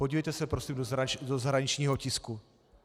Podívejte se prosím do zahraničního tisku.